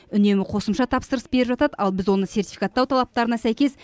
үнемі қосымша тапсырыс беріп жатады ал біз оны сертификаттау талаптарына сәйкес